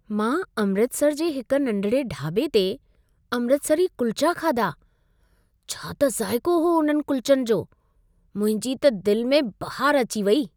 मां अमृतसर जे हिक नंढिड़े डाॿे ते अमृतसरी कुल्चा खाधा। छा त ज़ाइको हो उन्हनि कुलचनि जो। मुंहिंजी त दिल में बहार अची वेई।